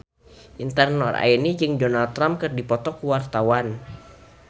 Intan Nuraini jeung Donald Trump keur dipoto ku wartawan